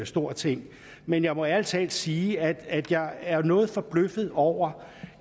stor ting men jeg må ærlig talt sige at jeg er noget forbløffet over